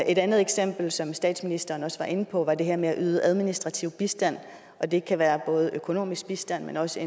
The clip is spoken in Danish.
et andet eksempel som statsministeren også var inde på var det her med at yde administrativ bistand og det kan være både økonomisk bistand men også